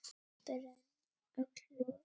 brenn öll loga